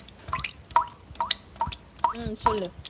ஹம் சொல்லு